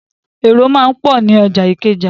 Èrò máa ń pọ̀ ní ọjà Ìkẹjà.